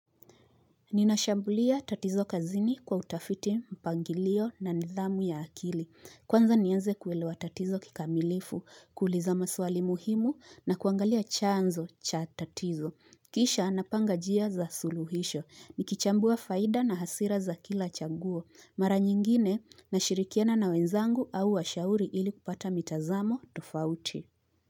Ninashambulia tatizo kazini kwa utafiti mpangilio na nidhamu ya akili. Kwanza nianze kuelewa tatizo kikamilifu, kuuliza maswali muhimu na kuangalia chanzo cha tatizo. Kisha napanga njia za suluhisho. Nikichambua faida na hasira za kila chaguo. Mara nyingine nashirikiana na wenzangu au wa shauri ili kupata mitazamo tofauti.